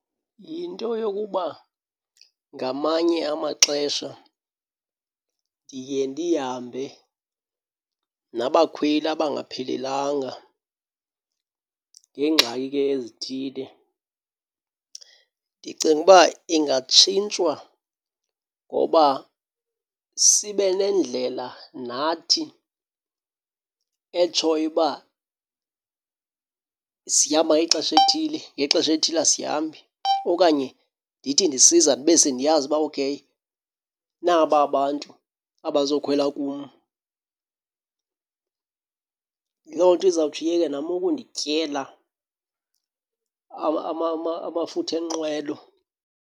Yinto yokuba ngamanye amaxesha ndiye ndihambe nabakhweli abangaphelelanga ngeengxaki ke ezithile. Ndicinga uba ingatshintshwa ngoba sibe nendlela nathi etshoyo uba sihamba ngexesha elithile, ngexesha elithile asihambi. Okanye ndithi ndisiza ndibe sendiyazi uba okheyi naba abantu abazokhwela kum. Loo nto izawutsho iyeke nam ukundityela amafutha enqwelo.